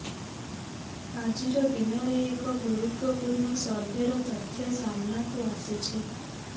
ଆଜିର ଦିନରେ ଏଗ ଗୁରୁତ୍ବପୂର୍ଣ୍ଣ ସର୍ଭେର ତଥ୍ୟ ସାମ୍ନାକୁ ଆସିଛି